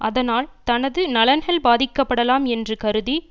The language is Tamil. அதனால் தனது நலன்கள் பாதிக்கப்படலாம் என்று கருதி